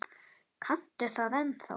Kanntu það ennþá?